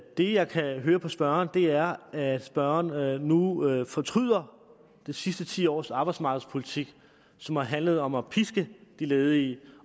det jeg kan høre på spørgeren er at spørgeren nu nu fortryder de sidste ti års arbejdsmarkedspolitik som har handlet om at piske de ledige